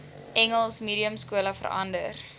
engels mediumskole verander